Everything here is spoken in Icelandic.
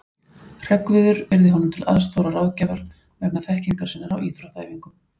Hreggviður yrði honum til aðstoðar og ráðgjafar vegna þekkingar sinnar á íþróttaæfingum.